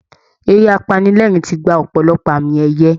Eré apanilẹ́ẹ̀rín ti gba ọ̀pọ̀lọpọ̀ àmì ẹ̀yẹ